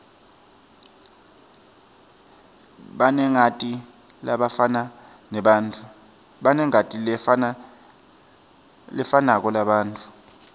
banengati lefanako labantfu